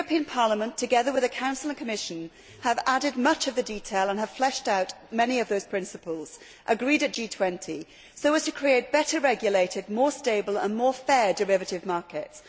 Parliament, together with the Council and Commission, have added much of the detail and have fleshed out many of those principles agreed at G20, so as to create better regulated, more stable and fairer derivative markets.